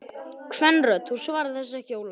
Kvenrödd: Þú svarar þessu ekki Ólafur!